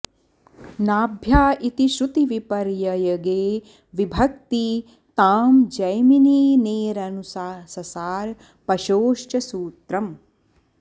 नाभ्या इति श्रुतिविपर्ययगे विभक्ती तां जैमिनेरनुससार पशोश्च सूत्रम्